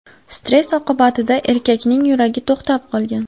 Stress oqibatida erkakning yuragi to‘xtab qolgan.